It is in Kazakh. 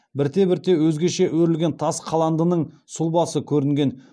бірте бірте өзгеше өрілген тас қаландының сұлбасы көрінген